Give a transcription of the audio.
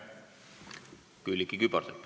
Külliki Kübarsepp.